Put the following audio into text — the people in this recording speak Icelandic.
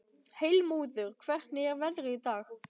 Heilmóður, hvernig er veðrið í dag?